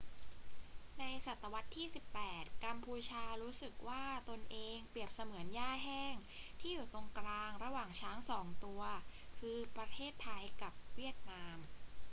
ในศตวรรษที่ 18 กัมพูชารู้สึกว่าตนเองเปรียบเสมือนหญ้าแห้งที่อยู่ตรงกลางระหว่างช้างสองตัว คือ ประเทศไทยกับเวียดนาม